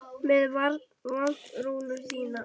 Með vantrú þína.